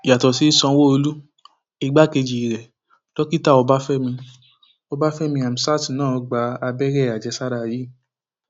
yàtọ sí sanwóolu igbákejì rẹ dókítà ọbáfẹmi ọbáfẹmi hamsat náà gba abẹrẹ àjẹsára yìí